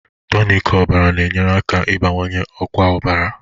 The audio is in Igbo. Tonic ọbara na-enyere aka ịbawanye ọkwa ọbara